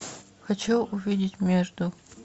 хочу увидеть между